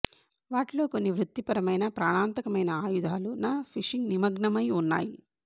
వాటిలో కొన్ని వృత్తిపరంగా ప్రాణాంతకమైన ఆయుధాలు న ఫిషింగ్ నిమగ్నమై ఉన్నాయి